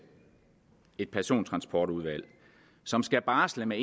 et persontransportudvalg som skal barsle med